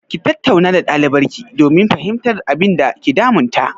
Ki tattauna da ɗalibarki domin fahimtar abinda ke damun ta!